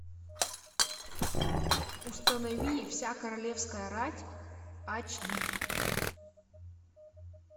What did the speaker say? установи вся королевская рать ач ди